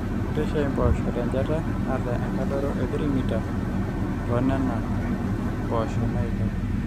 rrishai impoosho tenchata naata enkadoro e 3m toonena mpoosho naailep